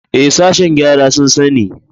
Ee, sashen gyara sun sani.